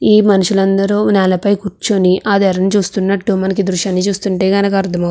ఈ మనుషులందరూ నేలపైన కూర్చొని ఆ తెరని చూస్తున్నట్టు మనకు ఈ దృశ్యాన్ని చూస్తుంటే గనక అర్థమవు --